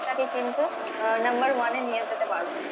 টাকে কিন্তু আহ number one এ নিয়ে যেতে পারবো।